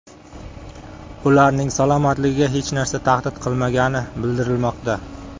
Ularning salomatligiga hech narsa tahdid qilmagani bildirilmoqda.